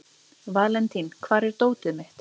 Valentín, hvar er dótið mitt?